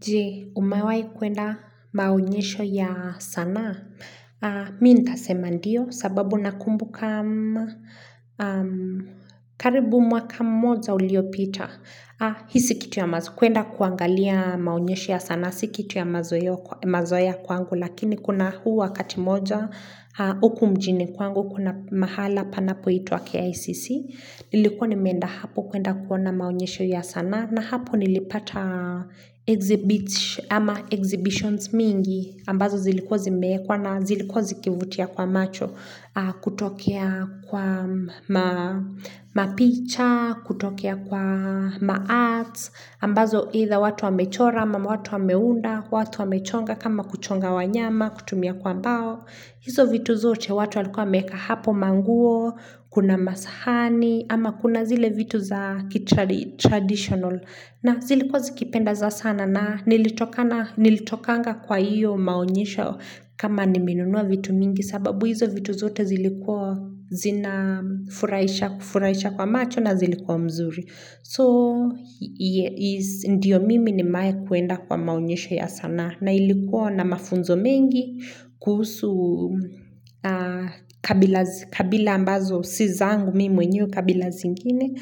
Jee, umewahi kuenda maonyesho ya sanaa? Mi ntasema ndio sababu nakumbuka karibu mwaka mmoja ulio pita. Hisi kitu ya mazokwenda kuangalia maunyesho ya sana, sikitu ya mazoya kwangu. Lakini kuna huu wakati mmoja, huku mjini kwangu, kuna mahala panapo itwa KICC. Nilikuwa nimeenda hapo kuenda kuona maonyesho ya sanaa. Na hapo nilipata exhibitions mingi ambazo zilikuwa zimeekwa na zilikuwa zikivutia kwa macho kutokea kwa mapicha, kutokea kwa maarts, ambazo either watu wamechora ama watu wameunda, watu wamechonga kama kuchonga wanyama, kutumia kwa mbao. Hizo vitu zote watu alikuwa meka hapo manguo, kuna masahani, ama kuna zile vitu za traditional na zilikuwa zikipenda za sana na nilitokanga kwa hiyo maonyesho kama nimenunua vitu mingi sababu hizo vitu zote zilikuwa zina furahisha kwa macho na zilikuwa mzuri. So, ndiyo mimi ni mae kuenda kwa maonyesho ya sanaa na ilikuwa na mafunzo mengi kuhusu kabila ambazo siza angu mimi mwenyewe kabila zingine